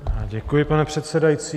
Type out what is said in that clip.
Děkuji, pane předsedající.